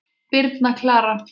Birna Klara.